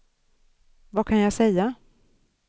vad kan jag säga